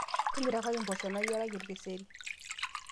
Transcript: timirakaki mboosho nayireki orkeseri